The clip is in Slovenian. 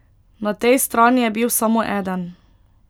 Na tej strani je bil samo eden.